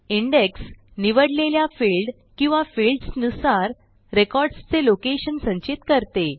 index निवडलेल्या field किंवा fields नुसार रेकॉर्ड्स चे लोकेशन संचित करते